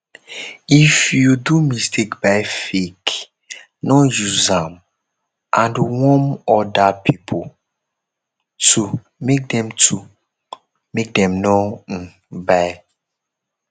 if you do mistake buy fake no use am and warm oda pipo too make dem too make dem no um buy